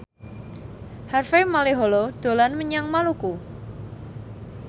Harvey Malaiholo dolan menyang Maluku